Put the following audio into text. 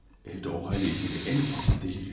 Evdə olayla ilgili ən ufak bir dəlil yox.